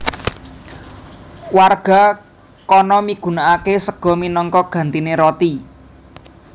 Warga kana migunakake sega minangka gantine roti